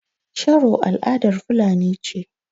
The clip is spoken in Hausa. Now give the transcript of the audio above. Sharo al'adar fulani ce.